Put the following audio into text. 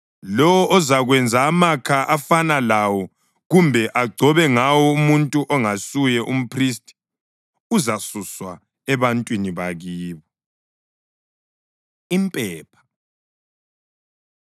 Lowo ozakwenza amakha afana lawo kumbe agcobe ngawo umuntu ongasuye mphristi, uzasuswa ebantwini bakibo.’ ” Impepha